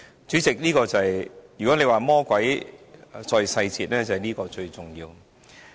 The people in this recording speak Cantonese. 主席，如果你說魔鬼在細節，這就是最重要的。